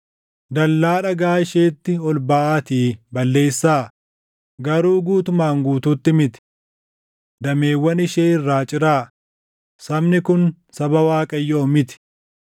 “Dallaa dhagaa isheetti ol baʼaatii balleessaa; garuu guutumaan guutuutti miti. Dameewwan ishee irraa ciraa; sabni kun saba Waaqayyoo miti.